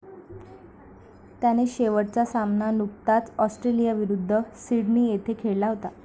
त्याने शेवटचा सामना नुकताच ऑस्ट्रेलियाविरुद्ध सिडनी येथे खेळला होता.